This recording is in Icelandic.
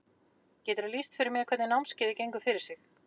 Geturðu lýst fyrir mér hvernig námskeiðið gengur fyrir sig?